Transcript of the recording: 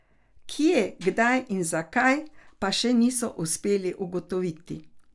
Kje, kdaj in zakaj, pa še niso uspeli ugotoviti.